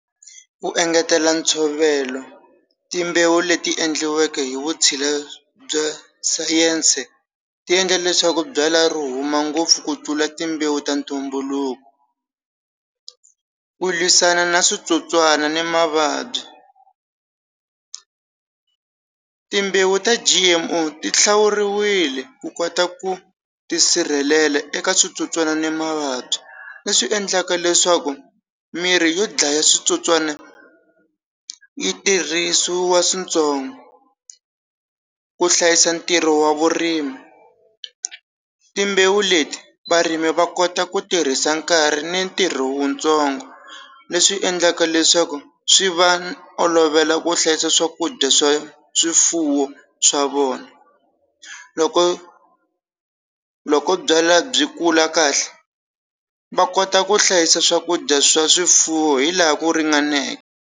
Wu engetela ntshovelo timbewu leti endliweke hi vutshila bya sayense ti endla leswaku byala ri huma ngopfu ku tlula timbewu ta ntumbuluko ku lwisana na switsotswana ni mavabyi timbewu ta G_M_O ti hlawuriwile ku kota ku tisirhelela eka switsotswana na mavabyi leswi endlaka leswaku mirhi yo dlaya switsotswana yi tirhisiwa swintsongo ku hlayisa ntirho wa vurimi timbewu leti varimi va kota ku tirhisa nkarhi ni ntirho wu ntsongo leswi endlaka leswaku swi va olovela ku hlayisa swakudya swa swifuwo swa vona loko loko byala byi kula kahle va kota ku hlayisa swakudya swa swifuwo hi laha ku ringaneke.